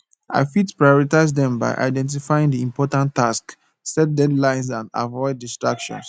i fit prioritize dem by identifying di important tasks set deadlines and avoid distractions